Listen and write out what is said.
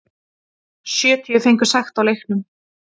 Sjötíu fengu sekt á leiknum